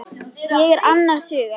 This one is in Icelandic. Ég er annars hugar.